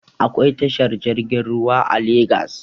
Akwai tashar jirgin ruwa a legas